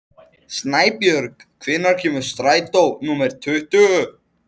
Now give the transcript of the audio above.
Snæbjörg, hvenær kemur strætó númer tuttugu?